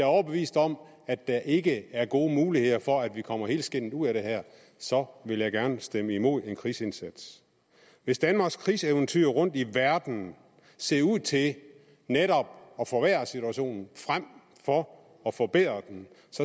overbevist om at der ikke er gode muligheder for at vi kommer helskindet ud af det her så vil jeg gerne stemme imod en krigsindsats hvis danmarks krigseventyr rundtom i verden ser ud til netop at forværre situationen frem for at forbedre den